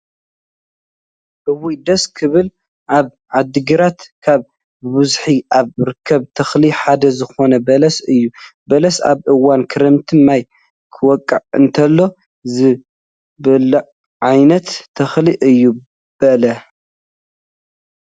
እውይ! ደስ ክብል ፣ኣብ ዓዲግራት ካብ ብበዝሒ ካብ ርከብ ተክሊ ሓደ ዝኮነ በለስ እዩ። በለስ ኣብ እዋን ክረምቲ ማይ ክወቅዕ እንተሎ ዝብላዕ ዓይነት ተክሊ እዩ። በለ